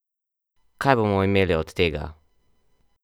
Kaj bomo imeli od tega?